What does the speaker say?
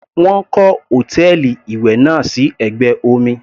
Wọ́n kọ́ hòtẹ́ẹ̀lì ìwẹ̀ náà sí ẹ̀gbẹ́ omi.